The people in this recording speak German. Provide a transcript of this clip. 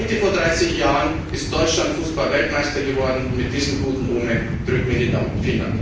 Heute vor 30 Jahren ist Deutschland Fußballweltmeister geworden, Mit diesem guten Omen drücken wir Ihnen die Daumen.